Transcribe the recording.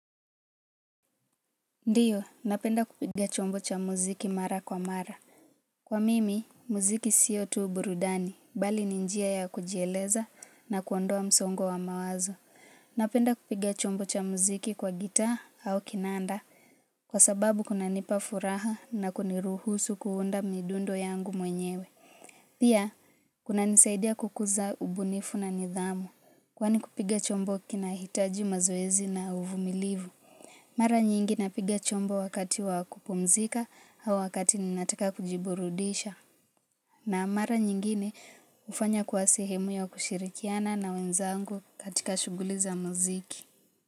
Ndiyo, napenda kupiga chombo cha muziki mara kwa mara. Kwa mimi, muziki sio tu burudani, bali ninjia ya kujieleza na kuondoa msongo wa mawazo. Napenda kupiga chombo cha muziki kwa gitaa au kinanda, kwa sababu kuna nipa furaha na kuniruhusu kuunda midundo yangu mwenyewe. Pia, kuna nisaidia kukuza ubunifu na nidhamu. Kwa ni kupiga chombo kinahitaji mazoezi na uvu milivu. Mara nyingi napiga chombo wakati wakupumzika au wakati ninataka kujiburudisha na mara nyingine ufanya kuwasehemu ya kushirikiana na wenzangu katika shughuli za mziki.